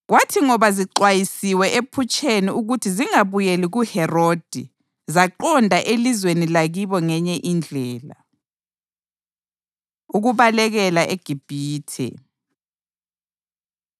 Kwathi ngoba zixwayisiwe ephutsheni ukuthi zingabuyeli kuHerodi, zaqonda elizweni lakibo ngenye indlela. Ukubalekela EGibhithe